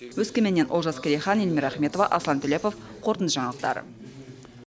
өскеменнен олжас керейхан эльмира ахметова аслан төлепов қорытынды жаңалықтар